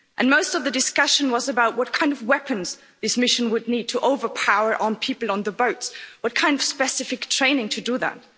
Most of the discussion was about what kind of weapons this mission would need to overpower people on the boats and what kind of specific training to do that.